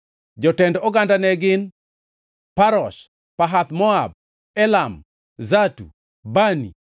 Jotend oganda ne gin: Parosh, Pahath-Moab, Elam, Zatu, Bani,